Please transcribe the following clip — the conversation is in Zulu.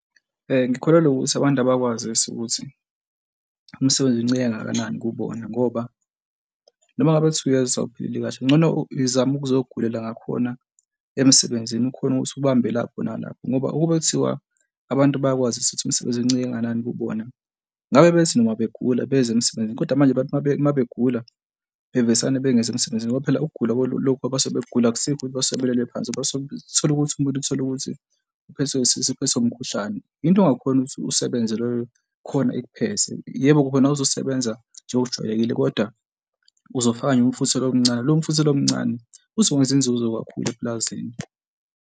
Ngikholelwa ukuthi abantu abakwazisi ukuthi umsebenzi uncike kangakanani kubona ngoba noma ngabe kuthiwa uyezwa ukuthi awuphilile kahle, kungcono zama ukuzogulela ngakhona emsebenzini, ukhone ukuthi ubambe lapho nalapho ngoba ukube kuthiwa abantu bayakwazi ukuthi umsebenzi uncike kangakanani kubona ngabe bethi noma begula beze emsebenzini. Kodwa manje abantu uma uma begula bevesane bengezi emsebenzini ngoba phela ukugula lokhu abasekugula akusikho ukuthi basuke sebelele phansi abasuke, uthole ukuthi umuntu uthole ukuthi uphethwe isisu, uphethwe umkhuhlane. Into ongakhona ukuthi usebenze loyo khona ikuphethe, yebo-ke khona awuzusebenza njengokujwayelekile kodwa uzofaka nje umfutho lo omncane lo mfutho lo omncane uzokwenza inzuzo kakhulu epulazini.